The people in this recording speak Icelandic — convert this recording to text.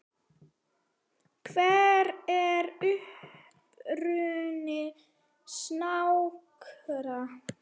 Hver er uppruni snáka?